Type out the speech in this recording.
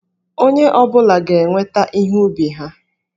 Onye ọ bụla ga-eweta ihe ubi ha.